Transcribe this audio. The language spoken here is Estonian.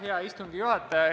Hea istungi juhataja!